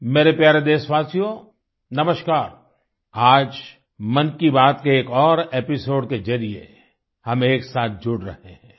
मेरे प्यारे देशवासियो नमस्कार आज मन की बात के एक और एपिसोड के जरिए हम एक साथ जुड़ रहे हैं